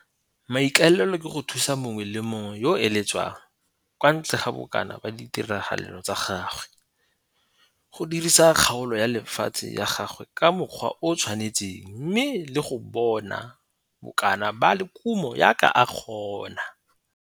Maikaelelo ke go thusa mongwe le mongwe yo a eletsang, kwa ntle ga bokana ba ditiragalo tsa gagwe, go dirisa kgaolo ya lefatshe ya gagwe ka mokgwa o o tshwanetseng mme le go bona bokana ba kumo jaaka a ka kgona.